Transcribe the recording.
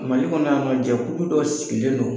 Mali kɔnɔ yan nɔ jɛkulu dɔ sigilen don